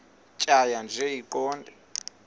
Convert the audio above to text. tjhaya nje iqondee